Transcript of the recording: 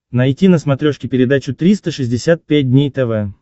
найти на смотрешке передачу триста шестьдесят пять дней тв